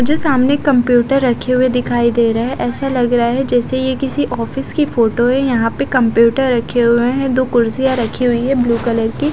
मुझे सामने एक कंप्यूटर रखे हुए दिखाई दे रहे है ऐसा लग रहा है जेसे ये किसी ऑफिस की फोटो है यहाँ पे कंप्यूटर रखे हुए है दो कुर्सियां रखी हुई है ब्लू कलर की--